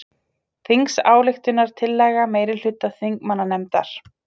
Þingsályktunartillaga meirihluta þingmannanefndar